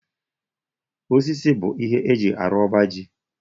Osisi bụ ihe eji arụ ọba ji